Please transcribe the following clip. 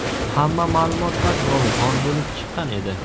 Hamma ma’lumotlar yolg‘on bo‘lib chiqqan edi.